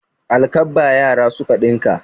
Alkabba yara suka ɗinka.